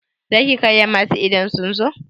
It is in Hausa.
Za ki karrama su idan sun zo?